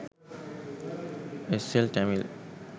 sl tamil